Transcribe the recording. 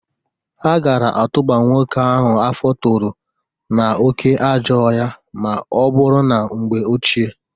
Ha gara atụba nwoke ahụ afọ toro n'oke ajọọ ohịa ma ọ bụrụ na mgbe ochie.